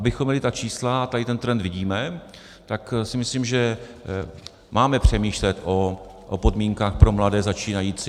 Abychom měli ta čísla, a tady ten trend vidíme, tak si myslím, že máme přemýšlet o podmínkách pro mladé začínající.